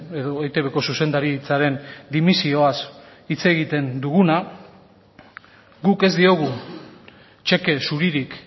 edo eitbko zuzendaritzaren dimisioaz hitz egiten duguna guk ez diogu txeke zuririk